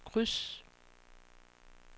kryds